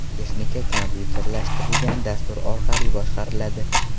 Texnika kompyuterlashtirilgan dastur orqali boshqariladi.